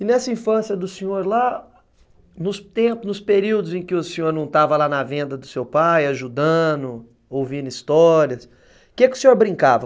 E nessa infância do senhor lá, nos períodos em que o senhor não estava lá na venda do seu pai, ajudando, ouvindo histórias, do que que o senhor brincava?